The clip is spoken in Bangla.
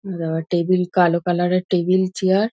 টেবিল কালো কালার -এর টেবিল চেয়ার ।